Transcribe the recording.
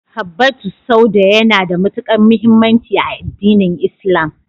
Habbatu sauda yana da matuƙar muhimmanci a addinin Islam.